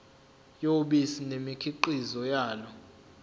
yobisi nemikhiqizo yalo